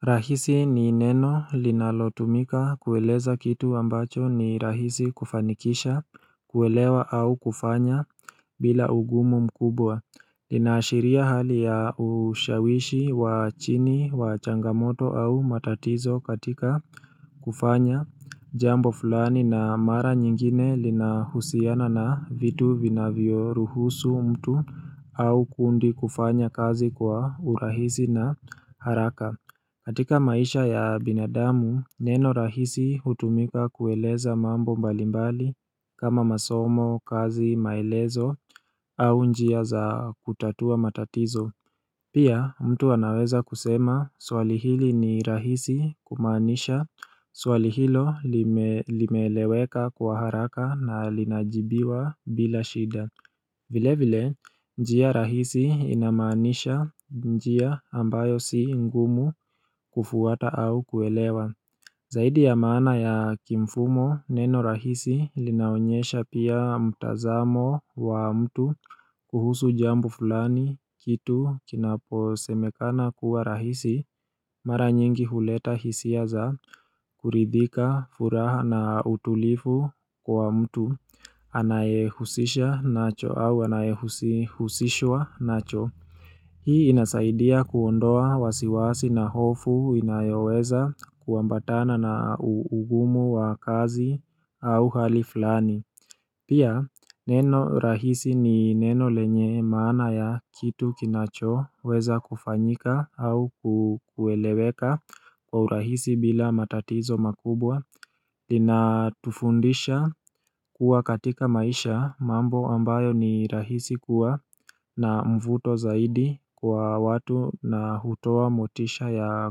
Rahisi ni neno linalotumika kueleza kitu ambacho ni rahisi kufanikisha kuelewa au kufanya bila ugumu mkubwa lina ashiria hali ya ushawishi wa chini wa changamoto au matatizo katika kufanya jambo fulani na mara nyingine lina husiana na vitu vinavyo ruhusu mtu au kundi kufanya kazi kwa urahisi na haraka katika maisha ya binadamu, neno rahisi hutumika kueleza mambo mbalimbali kama masomo, kazi, maelezo au njia za kutatua matatizo. Pia, mtu anaweza kusema swali hili ni rahisi kumaanisha, swali hilo limeeleweka kwa haraka na linajibiwa bila shida. Vile vile njia rahisi inamaanisha, njia ambayo si ngumu kufuata au kuelewa Zaidi ya maana ya kimfumo neno rahisi linaonyesha pia mtazamo wa mtu kuhusu jambo fulani kitu kinaposemekana kuwa rahisi Mara nyingi huleta hisia za kuridhika furaha na utulifu kwa mtu anayehusisha nacho au anayehusishwa nacho. Hii inasaidia kuondoa wasiwasi na hofu inayoweza kuambatana na ugumu wa kazi au hali fulani. Pia, neno rahisi ni neno lenye maana ya kitu kinacho weza kufanyika au kukueleweka kwa urahisi bila matatizo makubwa. Lina tufundisha kuwa katika maisha mambo ambayo ni rahisi kuwa na mvuto zaidi kwa watu na hutowa motisha ya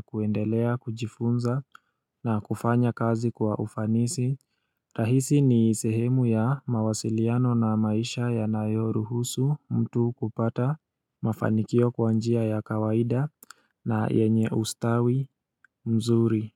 kuendelea, kujifunza na kufanya kazi kwa ufanisi. Rahisi ni sehemu ya mawasiliano na maisha yanayo ruhusu mtu kupata mafanikio kwa njia ya kawaida na yenye ustawi mzuri.